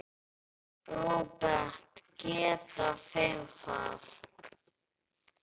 Róbert: Geta þeir það?